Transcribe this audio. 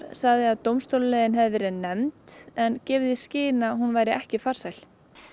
sagði að dómstólaleiðin hafi verið nefnd en gefið í skyn að hún væri ekki farsæl